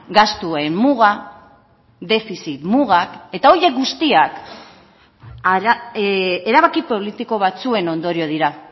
gastuen muga defizit mugak eta horiek guztiak erabaki politiko batzuen ondorio dira